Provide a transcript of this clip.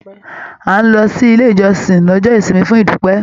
À lọ sílé ìjọsìn lọ́jọ́ ìsinmi fún idupẹ.